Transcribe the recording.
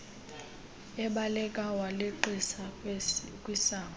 ebaleka waleqisa kwisango